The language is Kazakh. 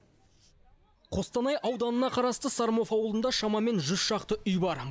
қостанай ауданына қарасты сормов ауылында шамамен жүз шақты үй бар